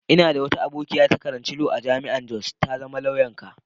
N'na da abokiya da ta karanta Lau a'jami'an Jos. Ta zama lauya'n ka.